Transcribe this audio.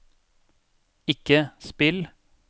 ikke spill